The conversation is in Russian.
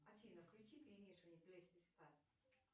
афина включи перемешивание